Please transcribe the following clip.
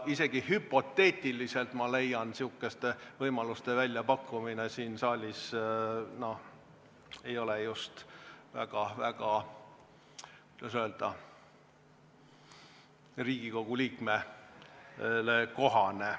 Isegi hüpoteetiliselt, ma leian, selliste võimaluste väljapakkumine siin saalis ei ole just väga, kuidas öelda, Riigikogu liikmele kohane.